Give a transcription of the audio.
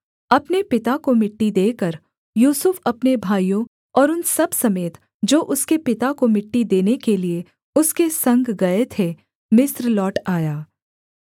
अपने पिता को मिट्टी देकर यूसुफ अपने भाइयों और उन सब समेत जो उसके पिता को मिट्टी देने के लिये उसके संग गए थे मिस्र लौट आया